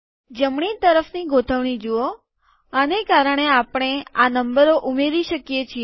જમણી તરફની ગોઠવણી જુઓ આને કારણે આપણે આ નંબરો ઉમેરી શકીએ છીએ